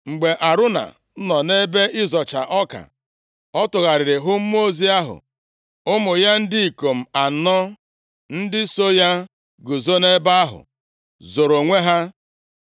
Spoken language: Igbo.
Mgbe Arauna nọ nʼebe ịzọcha ọka, ọ tụgharịrị hụ mmụọ ozi ahụ, ụmụ ya ndị ikom anọ ndị so ya guzo nʼebe ahụ zoro onwe ha.